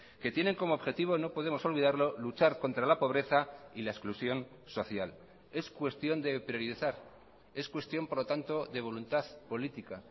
que tienen como objetivo no podemos olvidarlo luchar contra la pobreza y la exclusión social es cuestión de priorizar es cuestión por lo tanto de voluntad política